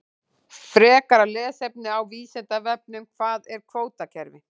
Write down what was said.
Frekara lesefni á Vísindavefnum: Hvað er kvótakerfi?